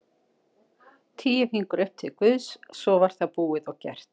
Tíu fingur upp til Guðs svo var það búið og gert.